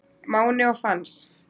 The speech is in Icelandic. Máni og Fans